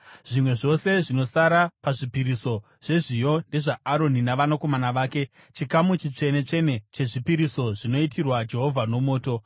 Zvimwe zvose zvinosara pazvipiriso zvezviyo ndezvaAroni navanakomana vake, chikamu chitsvene-tsvene chezvipiriso zvinoitirwa Jehovha nomoto.